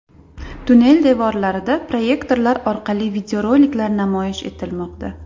Tunnel devorlarida proyektorlar orqali videoroliklar namoyish etilmoqda.